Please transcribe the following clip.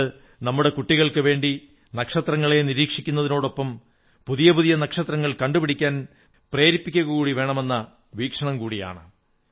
ഇത് നമ്മുടെ കുട്ടികൾക്കുവേണ്ടി നക്ഷത്രങ്ങളെ നിരീക്ഷിക്കുന്നതിനൊപ്പം പുതിയ പുതിയ നക്ഷത്രങ്ങൾ കണ്ടുപിടിക്കാൻ പ്രേരിപ്പിക്കകൂടി വേണമെന്ന വീക്ഷണം കൂടിയാണ്